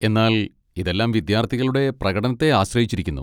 എന്നാൽ ഇതെല്ലാം വിദ്യാർത്ഥികളുടെ പ്രകടനത്തെ ആശ്രയിച്ചിരിക്കുന്നു.